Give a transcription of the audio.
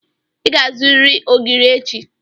Ị ga-azụrịrị ogiri echi.